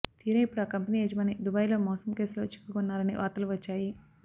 తీరా ఇప్పుడు ఆ కంపెనీ యజమాని దుబాయిలో మోసం కేసులో చిక్కుకున్నారని వార్తలు వచ్చాయి